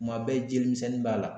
Kuma bɛɛ jelimisɛnnin b'a la